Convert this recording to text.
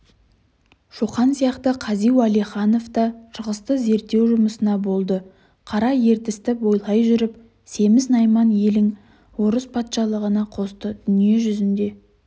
шоқан сияқты қази уәлиханав та шығысты зерттеу жұмысына болды қара ертісті бойлай жүріп семіз-найман елің орыс патшалығына қосты дүние жүзінде